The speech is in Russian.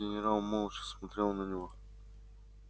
генерал молча смотрел на него